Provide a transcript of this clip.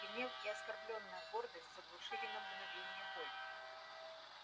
гнев и оскорблённая гордость заглушили на мгновение боль